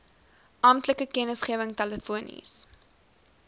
amptelike kennisgewing telefonies